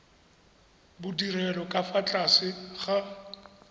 bodirelo ka fa tlase ga